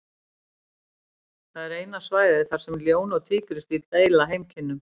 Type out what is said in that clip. Það er eina svæðið þar sem ljón og tígrisdýr deila heimkynnum.